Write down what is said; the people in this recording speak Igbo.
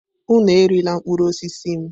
Unu erila mkpụrụ osisi m!